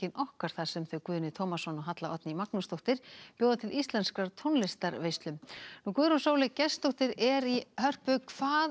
okkar þar sem þau Guðni Tómasson og Halla Oddný Magnúsdóttir bjóða til íslenskrar tónlistarveislu Guðrún Sóley Gestsdóttir er í Hörpu hvað